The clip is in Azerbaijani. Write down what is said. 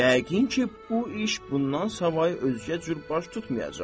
Yəqin ki, bu iş bundan savay özgə cür baş tutmayacaq.